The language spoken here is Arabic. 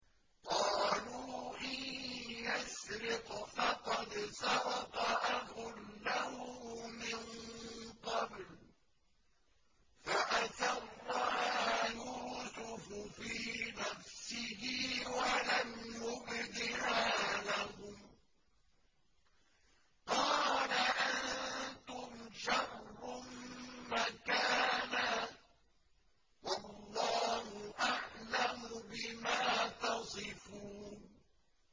۞ قَالُوا إِن يَسْرِقْ فَقَدْ سَرَقَ أَخٌ لَّهُ مِن قَبْلُ ۚ فَأَسَرَّهَا يُوسُفُ فِي نَفْسِهِ وَلَمْ يُبْدِهَا لَهُمْ ۚ قَالَ أَنتُمْ شَرٌّ مَّكَانًا ۖ وَاللَّهُ أَعْلَمُ بِمَا تَصِفُونَ